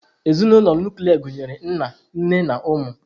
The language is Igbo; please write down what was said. Ezinụlọ nuklia gụnyere nna, nne na ụmụ.